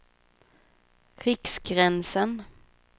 Riksgränsen